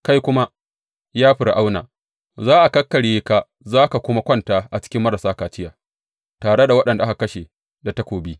Kai kuma, ya Fir’auna, za a kakkarye ka za ka kuma kwanta a cikin marasa kaciya, tare da waɗanda aka kashe da takobi.